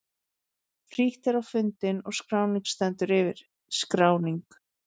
Frítt er á fundinn og skráning stendur yfir. SKRÁNING